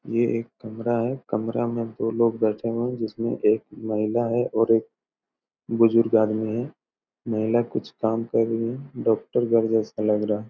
ये एक कमरा है कमरा में दो लोग बैठा हुआ है जिसमे में एक महिला है और एक बुजुर्ग आदमी है महिला कुछ काम कर रही है डॉक्टर घर जैसा लग रहा हैं।